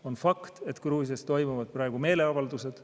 On fakt, et Gruusias toimuvad praegu meeleavaldused.